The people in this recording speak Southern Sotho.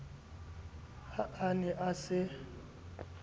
ha a ne a se